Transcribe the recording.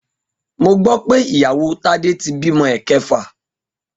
Mo gbó̩ pé ìyàwó Tádé ti bímo̩ è̩ke̩fà